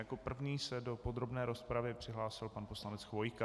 Jako první se do podrobné rozpravy přihlásil pan poslanec Chvojka.